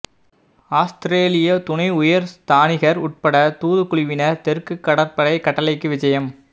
ஆஸ்திரேலிய துணை உயர் ஸ்தானிகர் உட்பட்ட தூதுக்குழுவினர் தெற்கு கடற்படை கட்டளைக்கு விஜயம்